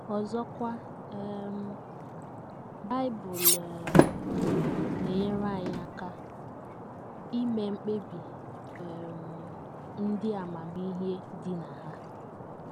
Ọzọkwa um,, Bible um na - enyere anyị aka ime mkpebi um ndị amamihe dị na ha.